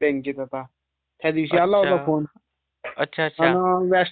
अच्छा, अच्छा. त्याचा व्याज किती टक्के असते मग?